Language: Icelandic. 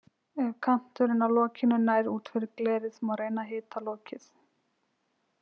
Ef kanturinn á lokinu nær út fyrir glerið má reyna að hita lokið.